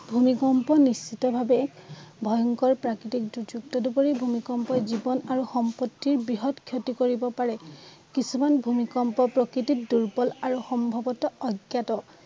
ভূমিকম্প নিশ্চিত ভাৱে ভয়ংকৰ প্ৰাকৃতিক দুৰ্যোগ তদুপৰি ভূমিকম্পই জীৱন আৰু সম্পত্তিৰ বৃহৎ ক্ষতি কৰিব পাৰে। কিছুমান ভূমিকম্প প্ৰকৃতিক দুৰ্বল আৰু সম্ভৱতঃ অজ্ঞাত